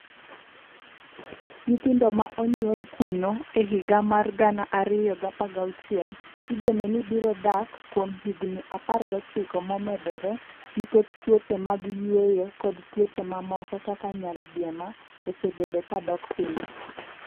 Nyithindo ma onyuol kuno e higa mar 2016, igeno ni biro dak kuom higni 19 momedore nikech tuoche mag yweyo kod tuoche mamoko kaka nyaldiema osebedo ka dok piny.